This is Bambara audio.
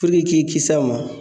i k'i kisi a ma